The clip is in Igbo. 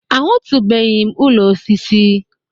Ahụtụbeghị m ụlọ osisi.